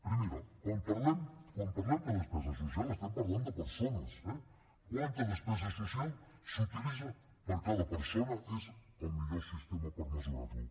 primera quan parlem de despesa social estem parlant de persones eh quanta despesa social s’utilitza per a cada persona és el millor sistema per mesurar ho